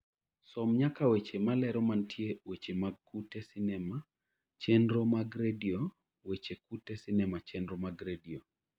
som nyaka weche malero mantie weche mag tuke sinema chenro mag redio weche tuke sinema chenro mag redio